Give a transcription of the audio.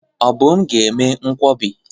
Obum ga eme nkwobi.